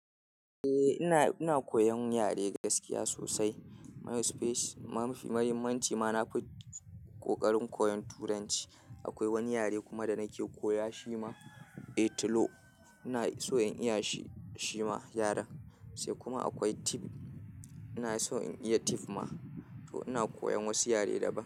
Eh ina, ina koyan yare gaskiya sosai. Myospace mafi muhimmanci ma, na fi ƙoƙarin koyon Turanci. Akwai wani yare kuma da nake koya shi ma, Italo. Ina so in iya shi ma yaren. Sai kuma akwai Tiv. Ina so in iya Tiv ma. To ina koyan wasu yare daban.